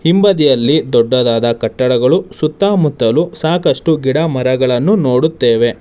ಹಿಂಬದಿಯಲ್ಲಿ ದೊಡ್ಡದಾದ ಕಟ್ಟಡಗಳು ಸುತ್ತಮುತ್ತಲು ಸಾಕಷ್ಟು ಗಿಡ ಮರಗಳನ್ನು ನೋಡುತ್ತೇವೆ.